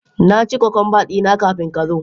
Na ci cucumber dina kafin ka zo.